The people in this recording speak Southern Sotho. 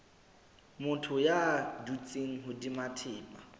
motho ya dutseng hodima thepa